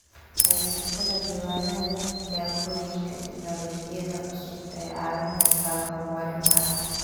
Haysashada diiwaannada tijaabooyinka tignoolajiyada cusub waxay caawin kartaa horumarinta.